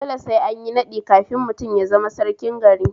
Dole sai anyi naɗi kafin mutum ya zama sarkin gari